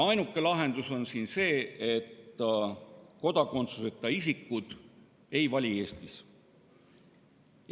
Ainuke lahendus on see, et kodakondsuseta isikud ei saa Eestis valida.